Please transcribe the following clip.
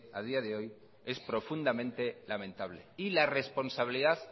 a día de hoy es profundamente lamentable y la responsabilidad